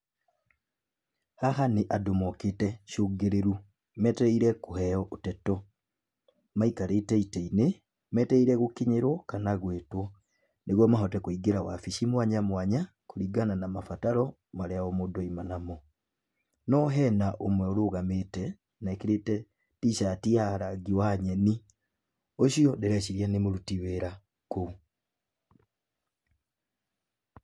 Haha nĩ andũ mokĩte cũngĩrĩru. Metereire kũheyo ndeto. Maikarĩte itĩ-inĩ, metereire gũkinyĩrwo kana gwĩtwo mahote kũingĩra wabici mwaya mwanya kũringana na mabataro marĩa o mũndũ auma namo. No hena ũmwe ũrũgamĩte na ekĩrĩte T-shirt ya rangi wa nyeni. Ũcio ndĩreciria nĩ mũruti wĩra kũu.